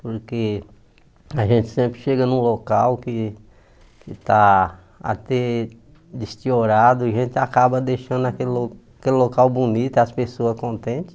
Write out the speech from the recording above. Porque a gente sempre chega num local que está até e a gente acaba deixando aquele lo aquele local bonito, e as pessoas contentes.